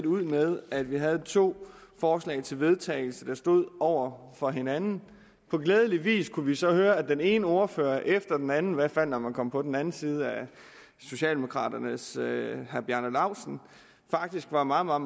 ud med at vi havde to forslag til vedtagelse der stod over for hinanden og glædeligvis kunne vi så høre at den ene ordfører efter den anden i hvert fald når man kom på den anden side af socialdemokraternes herre bjarne laustsen faktisk var meget meget